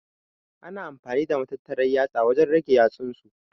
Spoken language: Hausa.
Ana amfani da matattaran yatsa wajen rage yatsunsu.